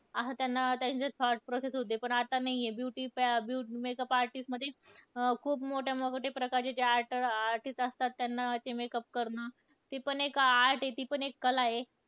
असं त्यांना, त्यांचे thought process होती. पण आता नाहीय. Beauty प makeup artist मध्ये खूप मोठ्या मोठ्या प्रकारचे ते artist असतात. त्यांना ते makeup करणं. ती पण एक art आहे, ती पण एक कला आहे.